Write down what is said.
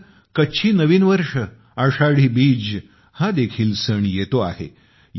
नंतर कच्छी नवीन वर्ष आषाढी बीज हा देखील सण येतो आहे